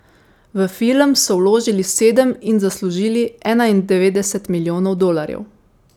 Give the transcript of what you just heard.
V film so vložili sedem in zaslužili enaindevetdeset milijonov dolarjev.